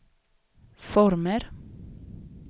former